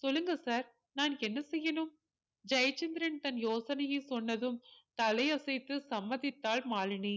சொல்லுங்க sir நான் என்ன செய்யணும் ஜெயச்சந்திரன் தன் யோசனையை சொன்னதும் தலையசைத்து சம்மதித்தாள் மாலினி